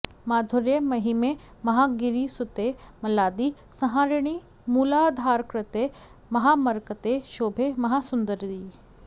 माधुर्ये महिमे महागिरिसुते मल्लादि संहारिणि मूलाधारकृते महामरकते शोभे महासुन्दरि